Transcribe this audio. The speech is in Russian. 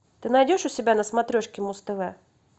ты найдешь у себя на смотрешке муз тв